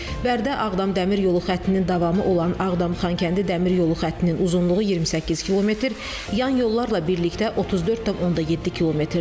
Bərdə-Ağdam Dəmir yolu xəttinin davamı olan Ağdam-Xankəndi Dəmir yolu xəttinin uzunluğu 28 km, yan yollarla birlikdə 34.7 kmdir.